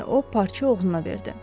deyə o parça oğluna verdi.